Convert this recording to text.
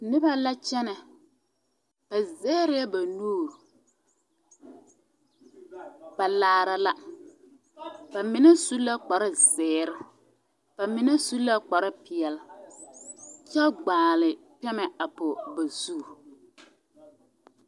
Koɔ la laare a zie ka pɔgeba mine meŋ pãâ be a be a kyaare kataweere kyɛ ka ba mine meŋ gaa te kyɛnɛ tɔɔre zaa ka lɔɛ meŋ be a koɔ poɔ a uri vuunee.